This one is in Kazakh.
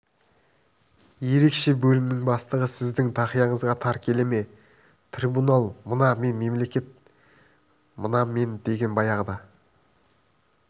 ерекше бөлімнің бастығы сіздің тақияңызға тар келе ме трибунал мына мен мемлекет мына мен деген баяғыда